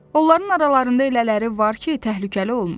Onların aralarında elələri var ki, təhlükəli olmur.